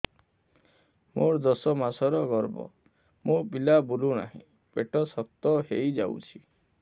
ମୋର ଦଶ ମାସର ଗର୍ଭ ମୋ ପିଲା ବୁଲୁ ନାହିଁ ପେଟ ଶକ୍ତ ହେଇଯାଉଛି